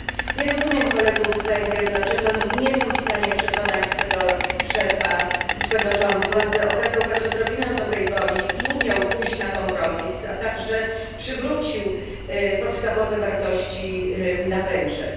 Nie rozumiem kolegów z Węgier, dlaczego nie są w stanie przekonać swego szefa i swego rządu, aby okazał choć odrobinę dobrej woli i umiał pójść na kompromis, a także przywrócił poszanowanie podstawowych wartości na Węgrzech.